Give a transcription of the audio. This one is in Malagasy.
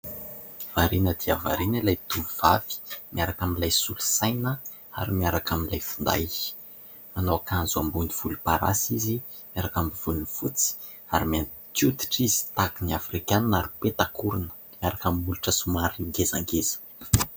Variana dia variana ilay tovovavy miaraka amin'ilay solosaina ary miaraka amin'ilay finday. Manao akanjo ambony volomparasy izy miaraka amin'ny volony fotsy ary mainty hoditra izy tahaka ny Afrikana ary peta-korona miaraka amin'ny molotra somary ngezangeza.